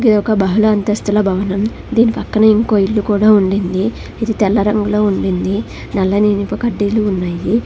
ఇది ఒక బహల అంతస్తుల భవనం దీని పక్కనే ఇంకో ఇల్లు కూడా ఉండింది ఇది తెల్ల రంగులో ఉండింది నల్లని ఇనుప కడ్డీలు ఉన్నాయి.